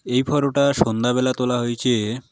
এই ফটোটা সন্ধ্যাবেলা তোলা হয়েছে।